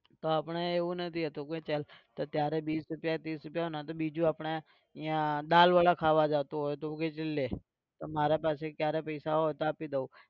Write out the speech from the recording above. તો આપણે એવું નથી હોતું કે ચલ. ત્યારે બીસ રૂપિયા ત્રીસ રૂપિયા હોય ને તો બીજું આપણે અહીંયા દાળવડા ખાવા જતો હોય તો કે લે મારા પાસે ત્યારે પૈસા હોય તો આપી દઉ.